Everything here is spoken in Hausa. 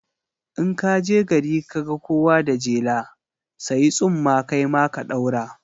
In ka je gari ka ga kowa da jela, sayi tsumma kai ma ka ɗaura.